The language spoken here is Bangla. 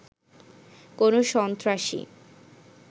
কোনো সন্ত্রাসী